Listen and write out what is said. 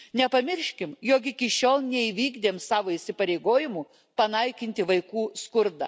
Nepamirškime, jog iki šiol neįvykdėm savo įsipareigojimų panaikinti vaikų skurdą.